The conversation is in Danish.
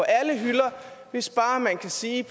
alle hylder og hvis bare man kan sige